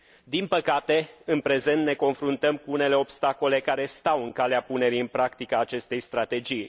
Din păcate, în prezent ne confruntăm cu unele obstacole care stau în calea punerii în practică a acestei strategii.